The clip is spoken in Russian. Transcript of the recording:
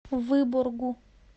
выборгу